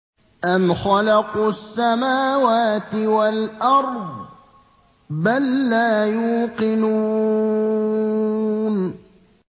أَمْ خَلَقُوا السَّمَاوَاتِ وَالْأَرْضَ ۚ بَل لَّا يُوقِنُونَ